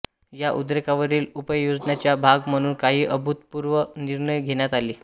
या उद्रेकावरील उपाययोजनेचा भाग म्हणून काही अभूतपूर्व निर्णय घेण्यात आले